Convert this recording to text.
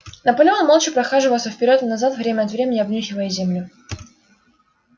наполеон молча прохаживался вперёд и назад время от времени обнюхивая землю